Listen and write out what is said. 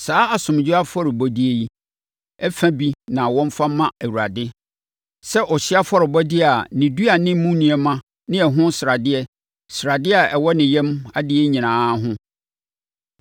Saa asomdwoeɛ afɔrebɔdeɛ yi, fa bi na wɔmfa mma Awurade sɛ ɔhyeɛ afɔrebɔdeɛ a ne dua ne mu nneɛma ne ɛho sradeɛ, sradeɛ a ɛwɔ ne yam adeɛ nyinaa ho,